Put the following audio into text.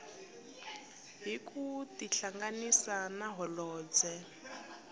hi ku tihlanganisa na holobye